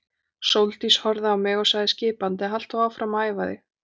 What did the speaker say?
Sóldís horfði á mig og sagði skipandi: Halt þú áfram að æfa þig.